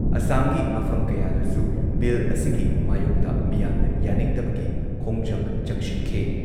ꯑꯁꯥꯝꯒꯤ ꯃꯐꯝ ꯀꯌꯥꯗꯁꯨ ꯕꯤꯜ ꯑꯁꯤꯒꯤ ꯃꯥꯌꯣꯛꯇ ꯃꯤꯌꯥꯝꯅ ꯌꯥꯅꯤꯡꯗꯕꯒꯤ ꯈꯣꯡꯖꯪ ꯆꯪꯁꯤꯟꯈꯤ ꯫